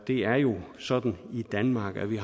er jo sådan i danmark at vi